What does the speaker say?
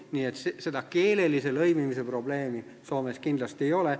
Nii et keelelise lõimimise probleemi Soomes kindlasti ei ole.